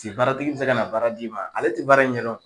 Te baaratigi bi se kana baara d'i ma, ale ti baara in ɲɛ dɔn